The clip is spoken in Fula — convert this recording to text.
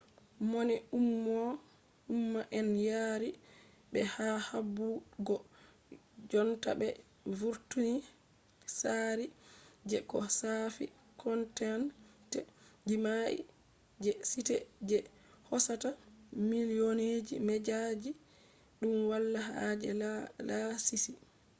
mone umma on yaari ɓe ha habdugo jonta ɓe vurtina tsaari je ko shaafi content jima'i je site je hoosata milyonji media ɗum wala haaje laasisi